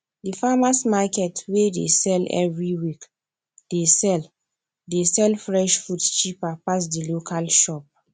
the farmers market wey dey sell every week dey sell dey sell fresh food cheaper pass the local shop